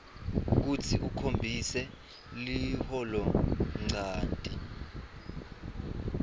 kutsi ukhombise liholonchanti